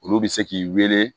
Olu bɛ se k'i wele